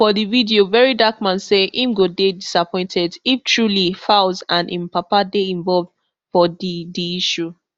for di video very dark man say im go dey disappointed if truly falz and im papa dey involved for di di issue